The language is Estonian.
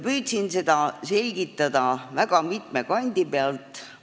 Püüdsin seda selgitada väga mitme kandi pealt.